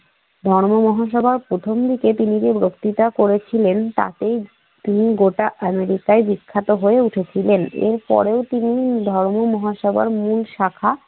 ধর্ম মহাসভার প্রথমদিকে তিনি যে বক্তৃতা করেছিলেন, তাতে তিনি গোটা আমেরিকায় বিখ্যাত হয়ে উঠেছিলেন। এরপরও তিনি ধর্ম মহাসভার মূল শাখা